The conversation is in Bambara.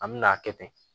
An me n'a kɛ ten